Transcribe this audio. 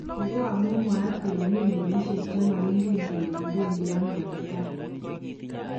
Ni ko amuu mwaat kele mii melishek chemagongen kele kibendi ano eng' taai